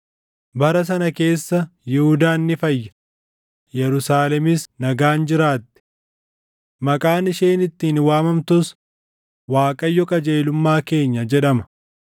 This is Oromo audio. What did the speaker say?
Bara sana keessa Yihuudaan ni fayya; Yerusaalemis nagaan jiraatti. Maqaan isheen ittiin waamamtus, Waaqayyo qajeelummaa keenya’ jedhama.